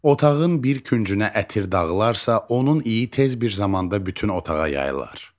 Otağın bir küncünə ətir dağılarsa, onun iyi tez bir zamanda bütün otağa yayılır.